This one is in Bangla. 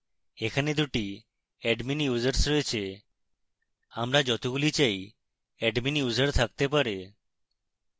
এখানে 2 টি admin users রয়েছে